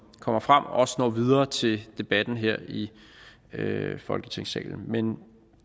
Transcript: kommer frem også når videre til debatten her i folketingssalen men